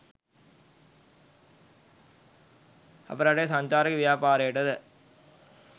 අප රටේ සංචාරක ව්‍යාපාරයට ද